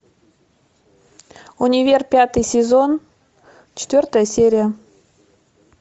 универ пятый сезон четвертая серия